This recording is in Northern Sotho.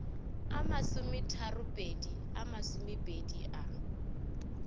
a masometharopedi a masomepedi a